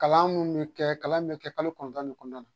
Kalan mun mi kɛ kalan in bɛ kɛ kalo kɔnɔntɔn ne kɔnɔna la.